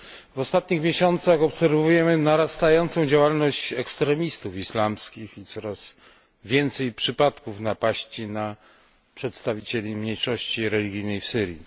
W ostatnich miesiącach obserwujemy narastającą działalność ekstremistów islamskich i coraz więcej przypadków napaści na przedstawicieli mniejszości religijnej w Syrii.